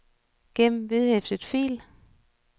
gem vedhæftet fil